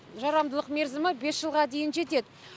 жарамдылық мерзімі бес жылға дейін жетеді